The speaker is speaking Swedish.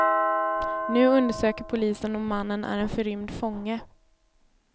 Nu undersöker polisen om mannen är en förrymd fånge.